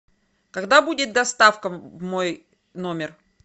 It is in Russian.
когда будет доставка в мой номер